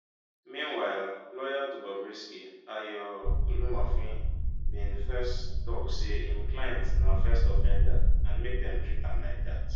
meanwhile lawyer to bobrisky ayo olumofin bin first tok say im client na first offender and make dem treat am like dat